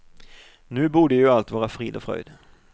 Nu borde ju allt vara frid och fröjd.